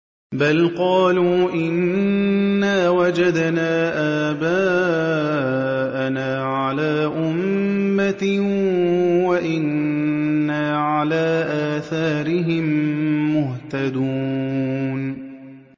بَلْ قَالُوا إِنَّا وَجَدْنَا آبَاءَنَا عَلَىٰ أُمَّةٍ وَإِنَّا عَلَىٰ آثَارِهِم مُّهْتَدُونَ